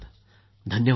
धन्यवाद सर